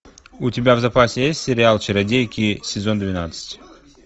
у тебя в запасе есть сериал чародейки сезон двенадцать